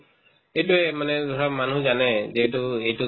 সেইটোয়ে মানে ধৰা মানুহ জানে যে এইটো এইটোক